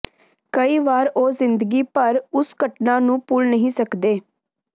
ਕਈ ਵਾਰ ਉਹ ਜ਼ਿੰਦਗੀ ਭਰ ਉਸ ਘਟਨਾ ਨੂੰ ਭੁੱਲ ਨਹੀਂ ਸਕਦੇ